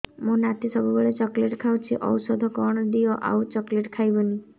ମୋ ନାତି ସବୁବେଳେ ଚକଲେଟ ଖାଉଛି ଔଷଧ କଣ ଦିଅ ଆଉ ଚକଲେଟ ଖାଇବନି